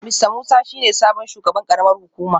Mista Musa shi ne sabon shugaban karamar hukumar